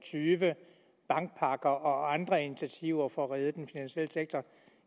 tyve bankpakker og andre initiativer for at redde den finansielle sektor